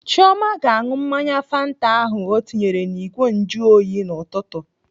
Chioma ga-aṅụ mmanya fanta ahụ ọ tinyere n'igwe njuoyi n'ụtụtụ.